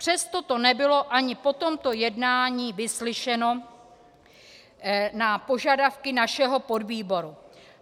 Přesto to nebylo ani po tomto jednání vyslyšeno - na požadavky našeho podvýboru.